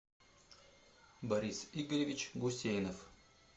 борис игоревич гусейнов